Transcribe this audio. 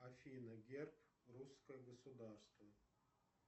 афина герб русское государство